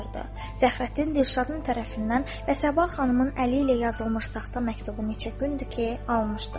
Fəxrəddin Dilşadın tərəfindən və Səbah xanımın əli ilə yazılmış saxta məktubu neçə gündür ki, almışdı.